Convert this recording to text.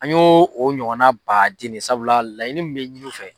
An y'o ɲɔgɔnna baaden de ye, sabula laɲinini min bɛ ɲini u fɛ